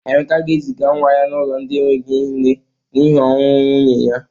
Emeka ga-eziga nwa ya n'ụlọ ndị enweghi nne n'hi ọnwụ nwunye ya.